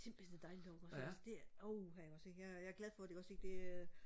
det er simpelthen så dejligt derovre ikke også ikke altså det åh jeg er glad for det ikke også ikke det øh